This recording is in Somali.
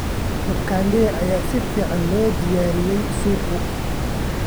Makande ayaa si fiican loogu diyaariyey suugo.